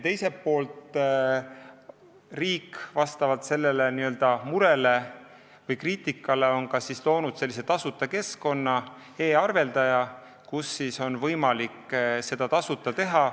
Teiselt poolt on riik sellele murele või kriitikale vastates loonud e-arveldaja, kus on võimalik seda tasuta teha.